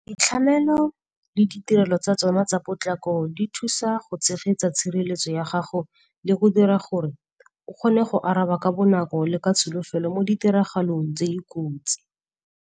Boitlhamelo le ditirelo tsa tsona tsa potlako di thusa go tshegetsa tshireletso ya gago le go dira gore o kgone go araba ka bonako le ka tsholofelo mo ditiragalong tse di kotsi.